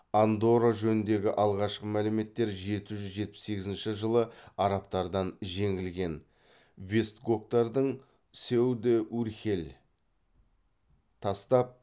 андорра жөніндегі алғашқы мәліметтер жеті жүз жетпіс сегізінші жылы арабтардан жеңілген вестготтардың сеу де урхель тастап